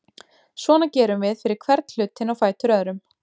Svona gerum við fyrir hvern hlutinn á fætur öðrum.